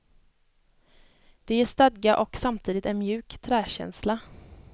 Det ger stadga och samtidigt en mjuk träkänsla.